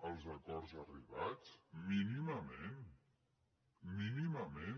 amb els acords arribats mínimament mínimament